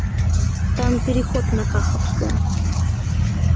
там переход на каховскую